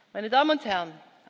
meine Damen und Herren!